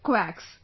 Quacks